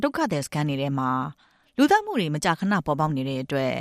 ဒုက္ခသည်စခန်းတွေထဲမှာ လူသတ်မှုတွေ မကြာခဏပေါ်ပေါက်နေတဲ့အတွက်